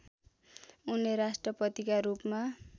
उनले राष्ट्रपतिका रूपमा